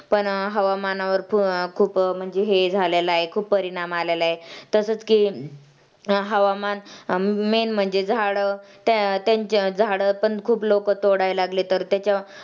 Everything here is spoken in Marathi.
पण हवामानावर अं खूप असं अं हे झालेला आहे, खूप परिणाम आलेला आहे. तसंच की हवामान Main म्हणजे झाडं झाडं पण खूप लवकर तोडायला लागले तर त्याच्या